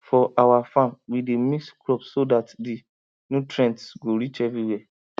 for our farm we dey mix crops so that the nutrients go reach everywhere